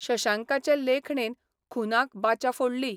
शशांकाचे लेखणेन खुनाक बाचा फोडली.